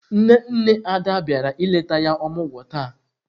Nne nne Ada biara ileta ya omugwo taa.